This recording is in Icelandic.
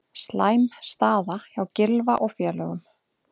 Slæm staða hjá Gylfa og félögum